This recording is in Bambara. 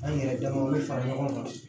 An yɛrɛ dama bɛ fara ɲɔgɔn kan